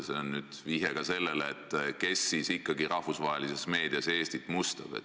See on vihje ka sellele, kes siis ikkagi rahvusvahelises meedias Eestit mustab.